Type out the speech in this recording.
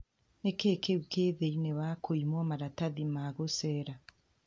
"Ni kĩĩ kĩu kĩ thĩini wa kũimwa marathathi ma gũcera ?